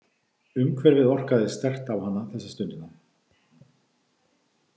Umhverfið orkaði sterkt á hana þessa stundina.